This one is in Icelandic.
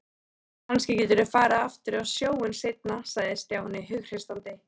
Kannski geturðu farið aftur á sjóinn seinna sagði Stjáni hughreystandi.